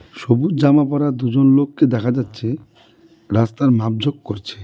সবুজ জামা পরা দুজন লোককে দেখা যাচ্ছে রাস্তার মাপঝোক করছে .